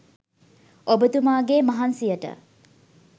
ඔබතුමාගේ මහන්සියට